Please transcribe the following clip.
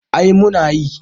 Eh muna yi